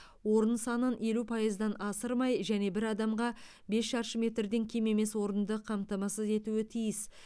орын санын елу пайыздан асырмай және бір адамға бес шаршы метрден кем емес орынды қамтамасыз етуі тиіс